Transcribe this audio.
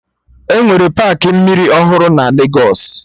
Enwere paakị mmiri ọhụrụ na Legos